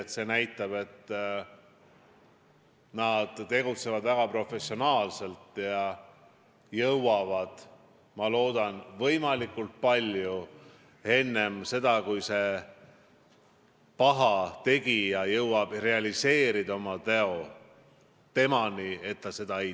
See juhtum näitab, et nad tegutsevad väga professionaalselt ja jõuavad, ma loodan, võimalikult sageli pahategijani enne seda, kui ta jõuab oma teo realiseerida.